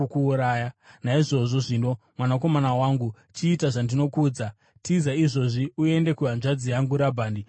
Naizvozvo zvino, mwanakomana wangu, chiita zvandinokuudza: Tiza izvozvi uende kuhanzvadzi yangu Rabhani kuHarani.